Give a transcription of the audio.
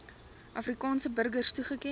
afrikaanse burgers toegeken